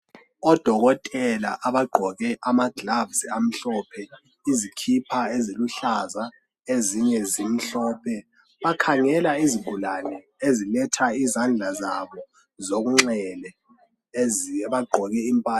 Odokotela abagqoke ama gloves amhlophe, izikhipha eziluhlaza ezinye zimhlophe bakhangela izigulane eziletha izandla zabo zokunxele ezi bagqoke impahla.